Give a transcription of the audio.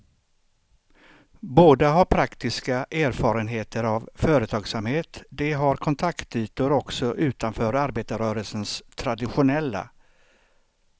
Båda har praktiska erfarenheter av företagsamhet, de har kontaktytor också utanför arbetarrörelsens traditionella.